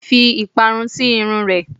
Fi ìparun sì irun ẹ!